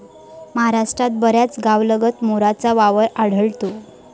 महाराष्ट्रात बऱ्याच गावांलगत मोरांचा वावर आढळतो.